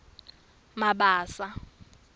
mabasa